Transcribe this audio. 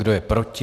Kdo je proti?